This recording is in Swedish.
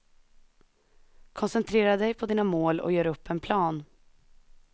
Koncentrera dig på dina mål och gör upp en plan.